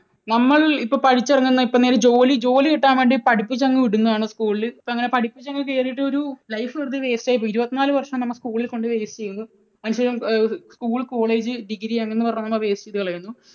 നമ്മൾ ഇപ്പോൾ പഠിച്ചിറങ്ങുന്ന, ഇപ്പോൾ എന്തെങ്കിലും ജോലി, ജോലി കിട്ടാൻ വേണ്ടി പഠിപ്പിച്ചങ്ങു വിടുന്നതാണ് school ൽ. പഠിപ്പിച്ചു അങ്ങ് കേറിയിട്ട് ഒരു life വെറുതെ waste ആയി പോകുന്നു. ഇരുപത്തിനാലു വർഷം നമ്മൾ school ൽ കൊണ്ട് waste ചെയ്യുന്നു. school, college, degree അങ്ങനെ പറഞ്ഞ് നമ്മൾ waste ചെയ്തു കളയുന്നു